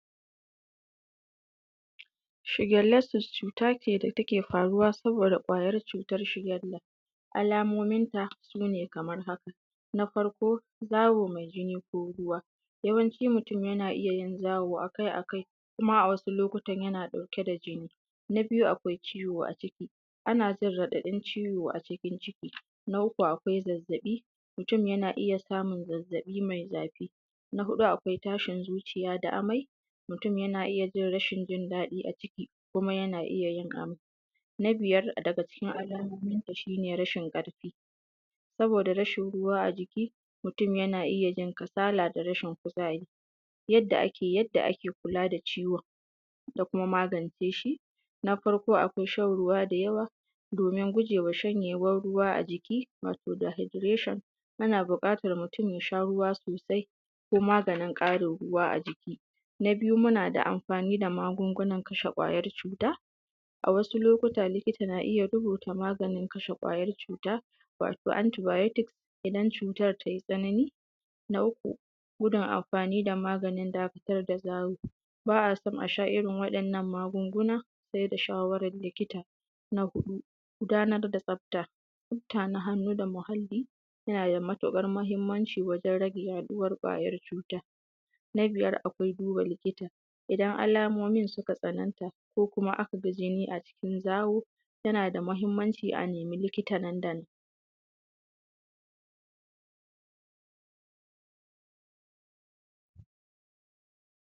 Shigenlestis cuta ce da take faruwa saboda kwayar cutar shigenda. Alamominta su ne kamar haka: na farko zawo mai jini ko ruwa, yawanci mutum yana iya yin zawo akai-akai kuma ma a wasu lokutan yana ɗauke da jini. Na biyu akwai ciwo a ciki, ana jin raɗaɗin ciwo a cikin ciki, na uku akwai zazzaɓi mutum yana iya samun zazzaɓi mai zafi, na huɗu akwai tashin zuciya da amai. Mutum yana iya jin rashin jin daɗi a jiki kuma yana iya yin amai, na biyar daga cikin alamominta shi ne rashin ƙarfi saboda rashin ruwa a jiki. Mutum yana iya jin kasala da rashin kuzari. Yadda ake kula da ciwon da kuma magance shi. Na farko akwai shan ruwa da yawa domin gujewa shanyewan ruwa a jiki, wato dahikulashon ana buƙatan mutum ya sha ruwa sosai ko maganin ƙarin ruwa a jiki, na biyu muna da amfani da magungunan kashe kwayoyin cuta. A wasu lokuta likita na iya rubuta kwayoyi kashe kwayar cuta wato anti baiyotik idan cutar tai tsanani, na uku gudun amfani da maganin dakatar da zawo. Ba a so a sha irin waɗɗan nan magunguna ba sai da shawarar likita, na huɗu gudanar da tsafta mutanen hannu da muhalli nada matuƙar mahinmanci wajen rage yaɗuwa kwayoyin cuta. Na biyar akwai duba likita idan alamomin suka tsananta ko kuma aka ga jini a jikin zawo yana da mahinmanci a nima likita nan da nan.